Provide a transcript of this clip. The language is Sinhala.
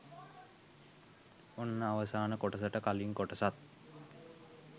ඔන්න අවසාන කොටසට කලින් කොටසත්